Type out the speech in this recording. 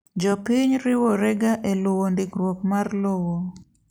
Jopiny riworega eluwo ndikruok mar lowo.